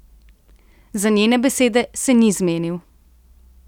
Za njene besede se ni zmenil.